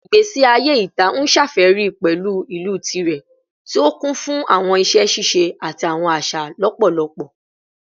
Igbesi aye ita n ṣafẹri pẹlu ilu tirẹ, ti o kun fun awọn iṣẹ ṣiṣe ati awọn aṣa lọpọlọpọ